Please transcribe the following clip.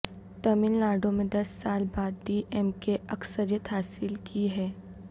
تمل ناڈو میں دس سال بعد ڈی ایم کے نے اکثریت حاصل کی ہے